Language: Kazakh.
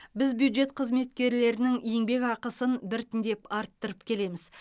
біз бюджет қызметкерлерінің еңбек ақысын біртіндеп арттырып келеміз